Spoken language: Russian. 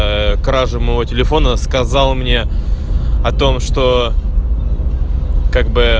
краже моего телефона сказал мне о том что как бы